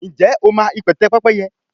njé o ma ipẹtẹ Pẹ́pẹ́yẹ?